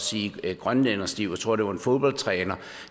sige grønlænderstiv jeg tror det var en fodboldtræner